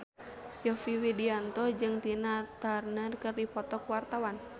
Yovie Widianto jeung Tina Turner keur dipoto ku wartawan